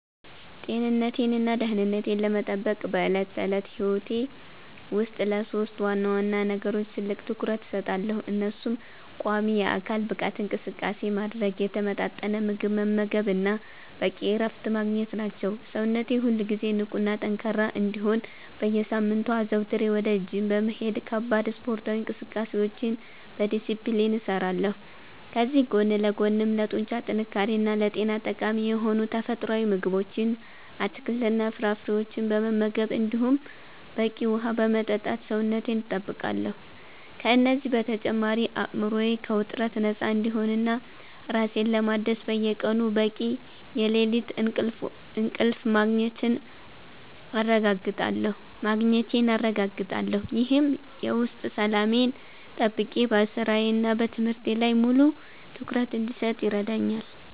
ጤንነቴንና ደህንነቴን ለመጠበቅ በዕለት ተዕለት ሕይወቴ ውስጥ ለሦስት ዋና ዋና ነገሮች ትልቅ ትኩረት እሰጣለሁ፤ እነሱም ቋሚ የአካል ብቃት እንቅስቃሴ ማድረግ፣ የተመጣጠነ ምግብ መመገብ እና በቂ እረፍት ማግኘት ናቸው። ሰውነቴ ሁልጊዜ ንቁና ጠንካራ እንዲሆን በየሳምንቱ አዘውትሬ ወደ ጂም በመሄድ ከባድ ስፖርታዊ እንቅስቃሴዎችን በዲስፕሊን እሰራለሁ፤ ከዚህ ጎን ለጎንም ለጡንቻ ጥንካሬና ለጤና ጠቃሚ የሆኑ ተፈጥሯዊ ምግቦችን፣ አትክልትና ፍራፍሬዎችን በመመገብ እንዲሁም በቂ ውሃ በመጠጣት ሰውነቴን እጠብቃለሁ። ከእነዚህ በተጨማሪ አእምሮዬ ከውጥረት ነፃ እንዲሆንና ራሴን ለማደስ በየቀኑ በቂ የሌሊት እንቅልፍ ማግኘቴን አረጋግጣለሁ፤ ይህም የውስጥ ሰላሜን ጠብቄ በሥራዬና በትምህርቴ ላይ ሙሉ ትኩረት እንድሰጥ ይረዳኛል።